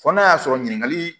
Fɔ n'a y'a sɔrɔ ɲininkali